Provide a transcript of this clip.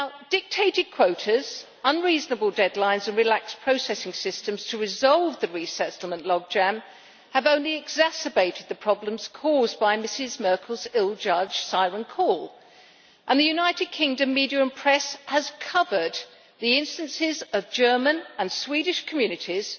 Dictated quotas, unreasonable deadlines and relaxed processing systems to resolve the resettlement logjam have only exacerbated the problems caused by Mrs Merkel's ill judged siren call, and the United Kingdom media and press have covered the instances of German and Swedish communities